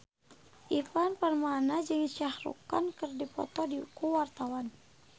Ivan Permana jeung Shah Rukh Khan keur dipoto ku wartawan